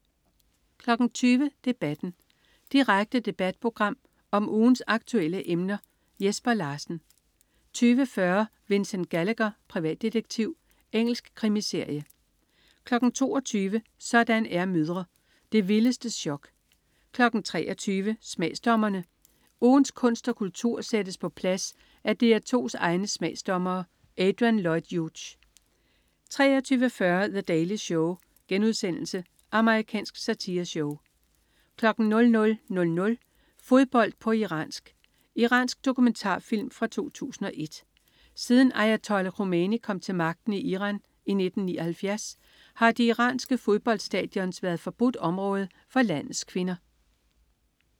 20.00 Debatten. Direkte debatprogram om ugens aktuelle emner. Jesper Larsen 20.40 Vincent Gallagher, privatdetektiv. Engelsk krimiserie 22.00 Sådan er mødre. Det vildeste chok 23.00 Smagsdommerne. Ugens kunst og kultur sættes på plads af DR2's egne smagsdommere. Adrian Lloyd Hughes 23.40 The Daily Show.* Amerikansk satireshow 00.00 Fodbold på iransk. Iransk dokumentarfilm fra 2001. Siden ayatollah Khomeini kom til magten i Iran i 1979 har de iranske fodboldstadions været forbudt område for landets kvinder